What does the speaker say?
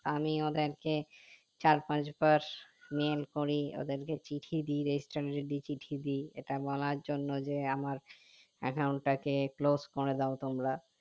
আমি ওদেরকে চার পাঁচ বার mail করি ওদেরকে চিঠি দিয় চিঠি দিয় এটা বলার জন্য যে আমার account টাকে close দাও তোমরা